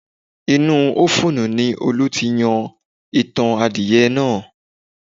Inú ofuunu ni Olú ti yan itan adìyẹnáà